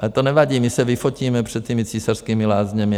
Ale to nevadí, my se vyfotíme před těmi Císařskými lázněmi.